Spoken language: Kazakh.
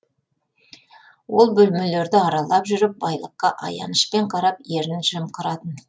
ол бөлмелерді аралап жүріп байлыққа аянышпен қарап ернін жымқыратын